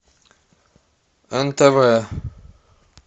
нтв